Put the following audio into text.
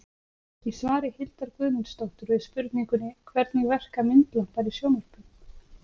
Í svari Hildar Guðmundsdóttur við spurningunni Hvernig verka myndlampar í sjónvörpum?